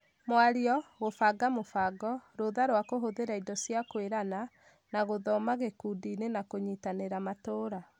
Mwario, gũbanga mũbango, rũtha rwa kũhũthĩra indo na cia kũirana, na gũthoma gĩkundiinĩ na kũnyitĩrĩra matũra.